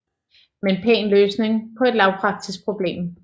Men pæn løsning på et lavpraktisk problem